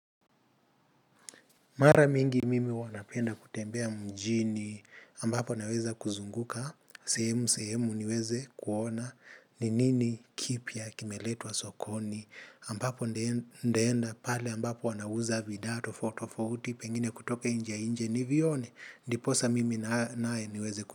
Mara mingi mimi huwa napenda kutembea mjini ambapo naweza kuzunguka, sehemu sehemu niweze kuona ni nini kipya kimeletwa sokoni ambapo ndaenda pale ambapo wanauza bidhaa tofauti tofauti pengine kutoka inje inje nivione, ndiposa mimi naye niweze kuona.